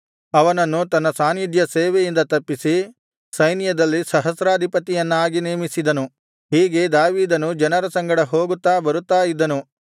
ಅವನನ್ನು ತನ್ನ ಸಾನ್ನಿಧ್ಯಸೇವೆಯಿಂದ ತಪ್ಪಿಸಿ ಸೈನ್ಯದಲ್ಲಿ ಸಹಸ್ರಾಧಿಪತಿಯನ್ನಾಗಿ ನೇಮಿಸಿದನು ಹೀಗೆ ದಾವೀದನು ಜನರ ಸಂಗಡ ಹೋಗುತ್ತಾ ಬರುತ್ತಾ ಇದ್ದನು